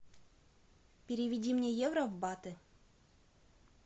переведи мне евро в баты